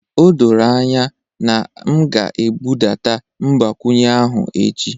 O doro anya na m ga-ebudata mgbakwunye ahụ echi